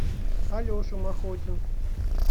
алеша махотин